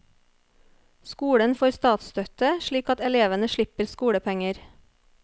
Skolen får statsstøtte slik at elevene slipper skolepenger.